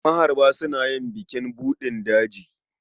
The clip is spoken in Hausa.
Maharba suna yin bukin buɗin daji.